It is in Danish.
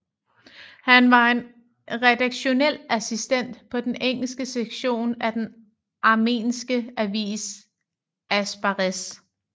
Han var en redaktionel assistent på den engelske sektion af den armenske avis Asbarez